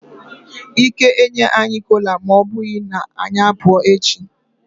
Ike enye anyi kola ma obughi na anyi apu echi.